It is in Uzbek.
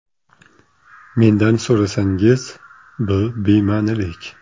Mendan so‘rasangiz, bu bema’nilik.